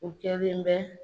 U kɛlen bɛ